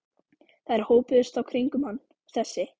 Þær hópuðust þá kringum hann, þessi